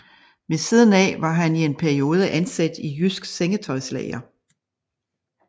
Ved siden af var han i en periode ansat i Jysk Sengetøjslager